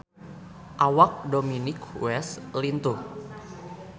Awak Dominic West lintuh